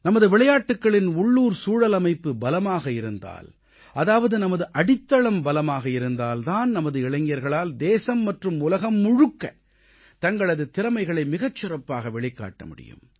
நமது விளையாட்டுக்களின் உள்ளூர் சூழலமைப்பு பலமாக இருந்தால் அதாவது நமது அடித்தளம் பலமாக இருந்தால் தான் நமது இளைஞர்களால் தேசம் மற்றும் உலகம் முழுக்க தங்களது திறமைகளை மிகச் சிறப்பாக வெளிப்படுத்த முடியும்